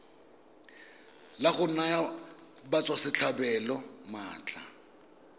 la go naya batswasetlhabelo maatla